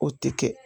O tɛ kɛ